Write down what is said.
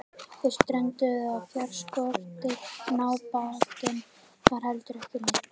Þeir strönduðu á fjárskorti en ábatinn var heldur ekki neinn.